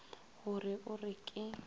go re o re ke